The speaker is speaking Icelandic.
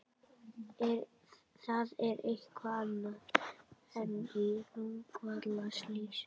Það er eitthvað annað en í Rangárvallasýslu.